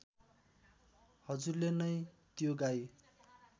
हजुरले नै त्यो गाई